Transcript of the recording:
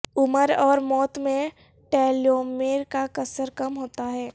عمر اور موت میں ٹلیومیر کا قصر کم ہوتا ہے